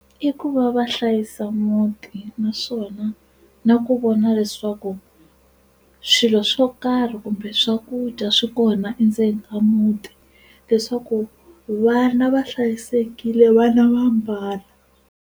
I ku va va hlayisa muti naswona na ku vona leswaku swilo swo karhi kumbe swakudya swi kona endzeni ka muti leswaku vana va hlayisekile vana va ambala.